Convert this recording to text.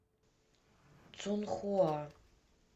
цунхуа